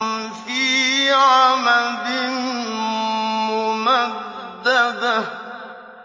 فِي عَمَدٍ مُّمَدَّدَةٍ